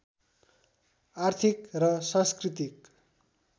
आर्थिक र सांस्कृतिक